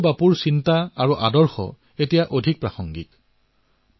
পূজ্য বাপুৰ বিচাৰ আৰু আদৰ্শ আজি পূৰ্বতকৈও অধিক প্ৰাসংগিক হৈ পৰিছে